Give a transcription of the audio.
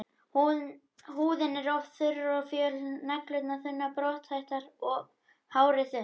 Húðin er oft þurr og föl, neglur þunnar og brothættar og hárið þunnt.